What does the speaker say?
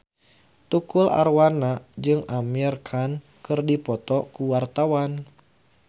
Tukul Arwana jeung Amir Khan keur dipoto ku wartawan